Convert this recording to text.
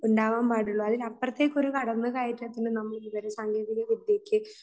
ഉണ്ടാവാൻ പാടുള്ളൂ. അതിനപ്പുറത്തേക്ക് ഒരു കടന്നുകയറ്റത്തിന് നമ്മൾ വിവര സാങ്കേതിക വിദ്യയ്ക്ക്